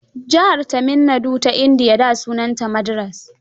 Jihar Tamil Nadu ta Indiya da sunanta Madras.